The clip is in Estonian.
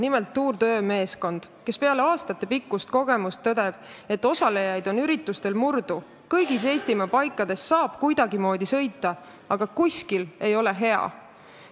Nimelt tõdeb Tour d'ÖÖ meeskond peale aastatepikkust kogemust, et osalejaid on üritustel murdu ja kõigis Eestimaa paikades saab kuidagimoodi sõita, aga kuskil ei ole hea.